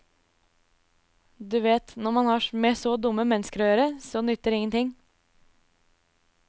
Du vet, når man har med så dumme mennesker å gjøre, så nytter ingenting.